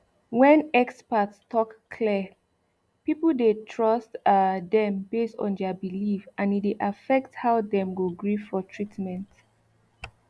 when experts talk clear people dey trust um dem based on their belief and e dey affect how dem go gree for treatment